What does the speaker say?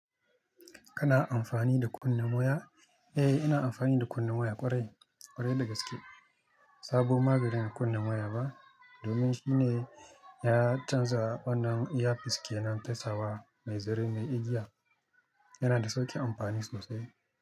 Kana amfani da kunnen waya? Eh, ina amfani da kunnen waya ƙwarai, ƙwarai dagaske. Sabo maganin kunne waya ba, domin shi ne ya canza wannan iya fiske nan fesa wa mai zare mai igiya. Yana da sauƙin amfani sosai.